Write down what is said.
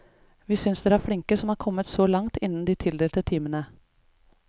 Vi synes dere er flinke som er kommet så langt innen de tildelte timene.